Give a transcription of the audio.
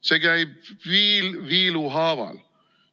See käib viil viilu haaval.